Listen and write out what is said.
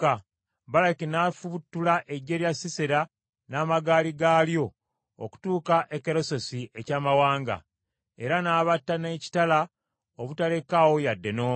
Baraki n’afubutula eggye lya Sisera n’amagaali gaalyo okutuuka e Keloseesi eky’amawanga; era n’abatta n’ekitala obutalekaawo yadde n’omu.